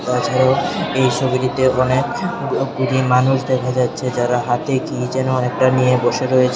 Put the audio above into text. তাছাড়াও এই ছবিটিতে অনেক ব-বুড়ি মানুষ দেখা যাচ্ছে যারা হাতে কি যেন একটা নিয়ে বসে রয়েছে।